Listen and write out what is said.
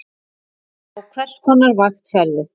Á hvers konar vakt ferðu?